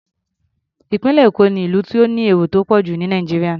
Ìpínlẹ̀ Èkó ni ìlú tó ní èrò tó pọ̀ jù ní Nàìjíríà.